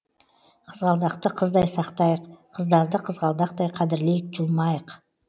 қызғалдақты қыздай сақтайық қыздарды қызғалдақтай қадірлейік жұлмайық